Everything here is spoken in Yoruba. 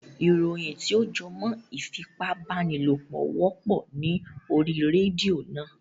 Ìròyìn tí ó jẹ́ mọ ìfipábánilòpọ̀ wọ́pọ̀ ní orí rédíò náà.